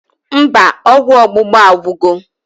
Mba, ọgwụ ọgbụgba agwugo